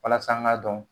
Walasa an k'a dɔn